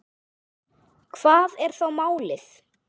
Hvað er þá málið?